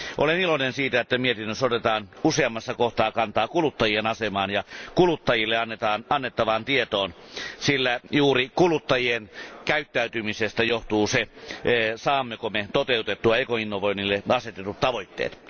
Olen iloinen siitä, että mietinnössä otetaan useammassa kohdassa kantaa kuluttajien asemaan ja kuluttajille annettavaan tietoon, sillä juuri kuluttajien käyttäytymisestä johtuu se, saammeko me toteutettua ekoinnovoinnille asetetut tavoitteet.